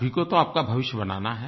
आप ही को तो आपका भविष्य बनाना है